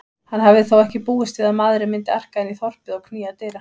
Hann hafði þó ekki búist við maðurinn myndi arka inn í þorpið og knýja dyra.